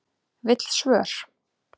Vill svör